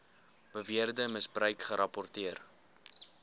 beweerde misbruik gerapporteer